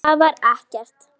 Það var ekkert.